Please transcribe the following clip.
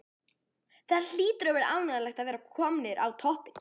Það hlýtur að vera ánægjulegt að vera komnir á toppinn?